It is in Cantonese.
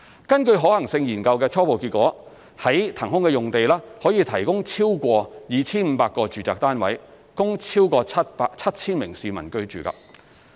根據可行性研究的初步結果，在騰空的用地可以提供超過 2,500 個住宅單位，供超過 7,000 名市民居住。